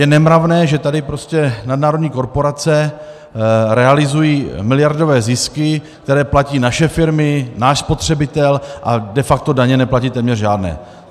Je nemravné, že tady prostě nadnárodní korporace realizují miliardové zisky, které platí naše firmy, náš spotřebitel, a de facto daně neplatí téměř žádné.